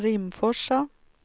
Rimforsa